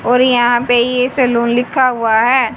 और यहां पे ये सैलुन लिखा हुआ है।